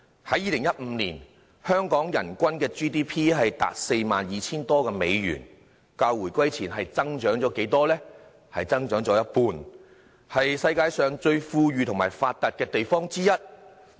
在2015年，香港人均 GDP 達 42,000 多美元，較回歸前增長了一半，是世界上最富裕和發達的地方之一。